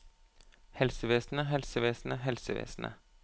helsevesenet helsevesenet helsevesenet